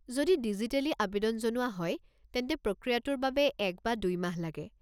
যদি ডিজিটেলী আৱেদন জনোৱা হয় তেন্তে প্ৰক্ৰিয়াটোৰ বাবে এক বা দুই মাহ লাগে।